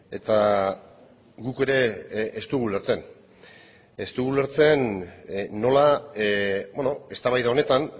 eta guk ere ez dugu ulertzen ez dugu ulertzen nola eztabaida honetan